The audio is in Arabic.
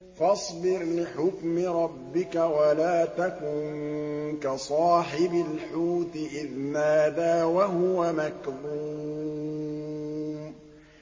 فَاصْبِرْ لِحُكْمِ رَبِّكَ وَلَا تَكُن كَصَاحِبِ الْحُوتِ إِذْ نَادَىٰ وَهُوَ مَكْظُومٌ